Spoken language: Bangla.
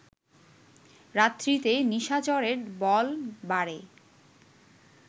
রাত্রিতে নিশাচরের বল বাড়ে